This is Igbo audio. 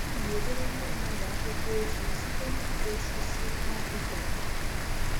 A na m edere ndị mmadụ akwụkwọ ozi site n’iji osisi na-apị kọmputa.